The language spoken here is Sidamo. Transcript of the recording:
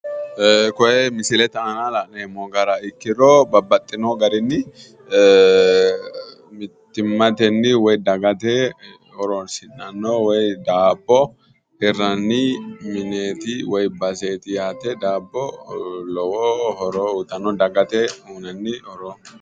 Koe misilete aana la'neemmo gara ikkoro mittimateni hidhinanni dabbote mineti dabbo lowo horo uyittano